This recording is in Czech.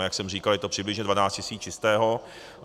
A jak jsem říkal, je to přibližně 12 tisíc čistého.